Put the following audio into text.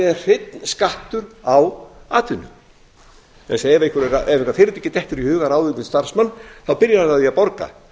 er hreinn skattur á atvinnu það er ef einhverju fyrirtæki dettur í hug að ráða til sín starfsmann þá byrjar hann á því að borga